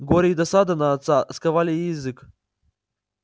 горе и досада на отца сковали ей язык